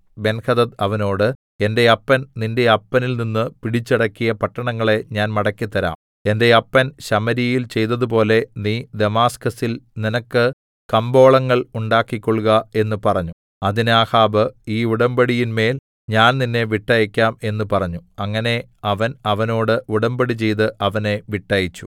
Benhadad അവനോട് എന്റെ അപ്പൻ നിന്റെ അപ്പനിൽനിന്ന് പിടിച്ചടക്കിയ പട്ടണങ്ങളെ ഞാൻ മടക്കിത്തരാം എന്റെ അപ്പൻ ശമര്യയിൽ ചെയ്തതുപോലെ നീ ദമാസ്കസിൽ നിനക്ക് കമ്പോളങ്ങൾ ഉണ്ടാക്കിക്കൊൾക എന്ന് പറഞ്ഞു അതിന് ആഹാബ് ഈ ഉടമ്പടിയിന്മേൽ ഞാൻ നിന്നെ വിട്ടയക്കാം എന്ന് പറഞ്ഞു അങ്ങനെ അവൻ അവനോട് ഉടമ്പടി ചെയ്ത് അവനെ വിട്ടയച്ചു